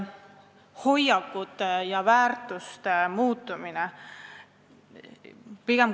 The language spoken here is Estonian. Hoiakud ja väärtused peaks muutuma.